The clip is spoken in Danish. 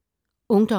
Ungdom